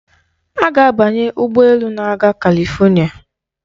Ọ ga-abanye ụgbọ elu na-aga Kalifonịa.